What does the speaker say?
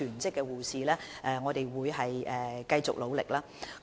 所以，我們會繼續努力招聘全職護士。